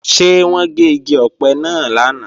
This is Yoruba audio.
Ṣé wọ́n gé igi ọ̀pẹ náà lánàá?